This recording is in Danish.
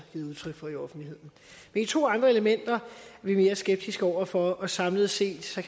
givet udtryk for i offentligheden de to andre elementer er vi mere skeptiske over for og samlet set står